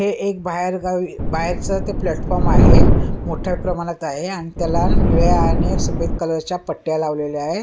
हे एक बाहेरगावी बाहेरचं ते प्लॅटफॉर्म आहे मोठ्या प्रमाणात आहे आणि त्याला निळ्या आणि सफेद कलर च्या पट्ट्या लावलेल्या आहेत.